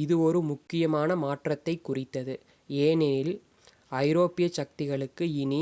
இது ஒரு முக்கியமான மாற்றத்தைக் குறித்தது ஏனெனில் ஐரோப்பியச் சக்திகளுக்கு இனி